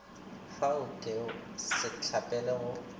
fa o ke setlapele go